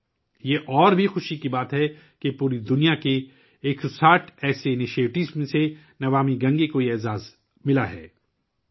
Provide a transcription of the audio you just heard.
یہ اور بھی خوشی کی بات ہے کہ 'نمامی گنگے' کو یہ اعزاز دنیا بھر سے 160 ایسے اقدامات میں ملا ہے